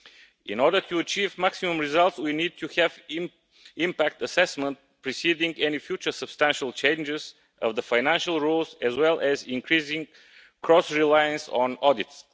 In order to achieve maximum results we need to have impact assessment preceding any future substantial changes of the financial rules, as well as increasing cross reliance on audits.